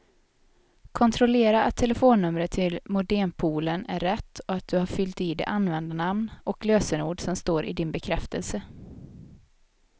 Kontrollera att telefonnumret till modempoolen är rätt och att du har fyllt i det användarnamn och lösenord som står i din bekräftelse.